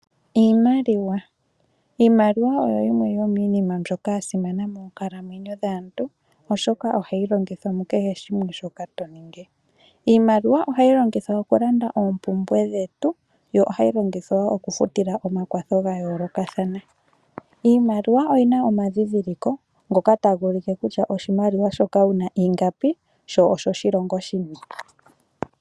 Iimaliwa! Iimaliwa oyo yimwe yomiinima mbyoka ya simana moonkalamwenyo dhaantu, oshoka ohayi longithwa mu kehe shimwe shoka to ningi. Iimaliwa ohayi longithwa okulanda oompumbwe dhetu yo ohayi longithwa woo okufutila omakwatho ga yoolokathana. Iimaliwa oyi na omadhidhiliko ngoka ta gu ulike kutya oshimaliwa shoka ingapi, sho oshoshilongo shini.